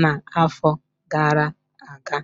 na-afọ gara-aga.